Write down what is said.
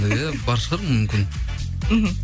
иә бар шығар мүмкін мхм